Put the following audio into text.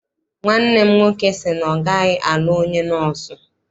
Nwanne m nwoke sị na ọ gaghị alụ onye nọọsụ.